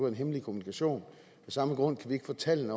en hemmelig kommunikation af samme grund kan vi ikke få tallene